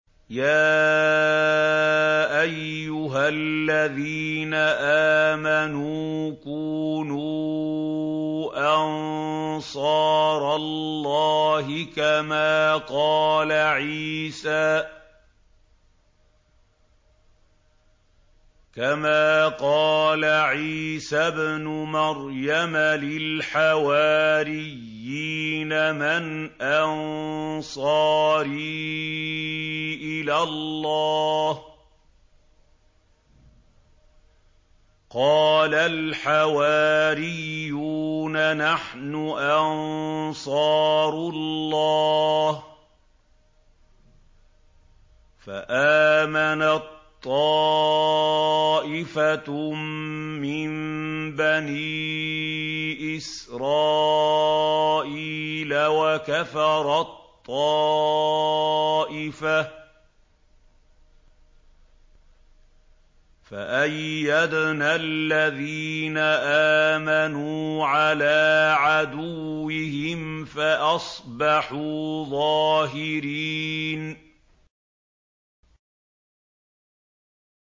يَا أَيُّهَا الَّذِينَ آمَنُوا كُونُوا أَنصَارَ اللَّهِ كَمَا قَالَ عِيسَى ابْنُ مَرْيَمَ لِلْحَوَارِيِّينَ مَنْ أَنصَارِي إِلَى اللَّهِ ۖ قَالَ الْحَوَارِيُّونَ نَحْنُ أَنصَارُ اللَّهِ ۖ فَآمَنَت طَّائِفَةٌ مِّن بَنِي إِسْرَائِيلَ وَكَفَرَت طَّائِفَةٌ ۖ فَأَيَّدْنَا الَّذِينَ آمَنُوا عَلَىٰ عَدُوِّهِمْ فَأَصْبَحُوا ظَاهِرِينَ